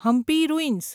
Hampi ruins